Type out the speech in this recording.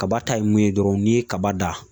Kaba ta ye mun ye dɔrɔn, n'i ye kaba dan,